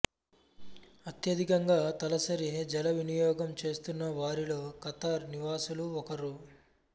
అత్యధికంగా తలసరి జలవినియోగం చేస్తున్న వారిలో ఖతార్ నివాసులు ఒకరు